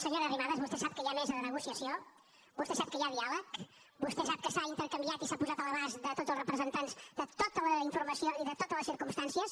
senyora arrimadas vostè sap que hi ha mesa de negociació vostè sap que hi ha diàleg vostè sap que s’ha intercanviat i s’ha posat a l’abast de tots els representants tota la informació i de totes les circumstàncies